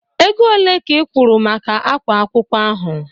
Ego ole ka ị kwụrụ maka ákwá akwụkwọ ahụ?